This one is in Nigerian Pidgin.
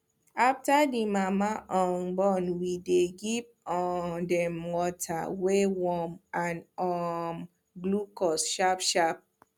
after the mama um born we dey give um dem water wey warm and um glucose sharp sharp